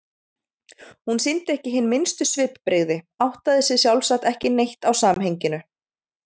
Hún sýndi ekki hin minnstu svipbrigði, áttaði sig sjálfsagt ekki neitt á samhenginu.